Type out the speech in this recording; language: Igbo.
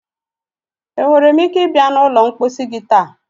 Enwere m ike ịbịa na ụlọ mposi gị taa?